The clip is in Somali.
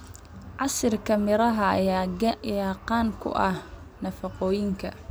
Casiirka miraha ayaa qani ku ah nafaqooyinka.